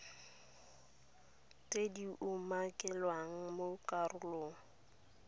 tse di umakilweng mo karolong